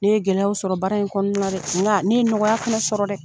Ne ye gɛlɛyaw sɔrɔ baara in kɔnɔna na dɛ, nka ne ye nɔgɔya fɛnɛ sɔrɔ dɛ.